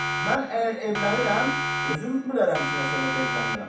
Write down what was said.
Mən əgər evlənirəm, özüm bilərəm ki, nə səbəbə evlənirəm.